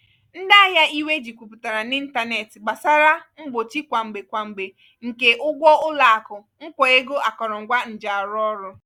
ndị ahịa iwe ji kwuputara n'ịntanetị gbasara mgbochi kwa mgbe kwa mgbe nke ụgwọ ụlọakụ nkwa ego akọrọngwa njiarụọrụ́.